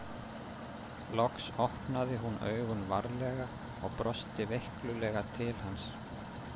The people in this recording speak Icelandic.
Loks opnaði hún augun varlega og brosti veiklulega til hans.